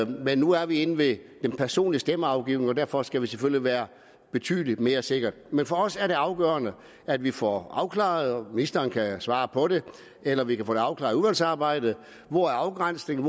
men nu er vi inde ved den personlige stemmeafgivning og derfor skal vi selvfølgelig være betydelig mere sikre men for os er det afgørende at vi får afklaret og ministeren kan svare på det eller vi kan få afklaret i udvalgsarbejdet hvor afgrænsningen